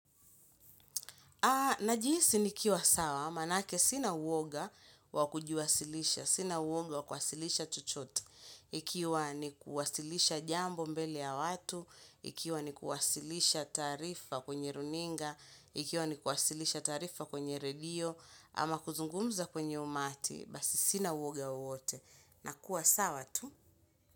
Na jihisi nikiwa sawa, maanake sina uwoga wakujiwasilisha, sina uwoga wakuwasilisha chochote ikiwa ni kuwasilisha jambo mbele ya watu, ikiwa ni kuwasilisha taarifa kwenye runinga, ikiwa ni kuwasilisha taarifa kwenye redio, ama kuzungumza kwenye umati, basi sina uwoga wowote. Na kuwasawa tu.